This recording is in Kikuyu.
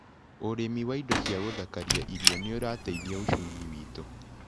ũrĩmi wa indo ciagũthakaria irio nĩũrateithia uchumi witũ.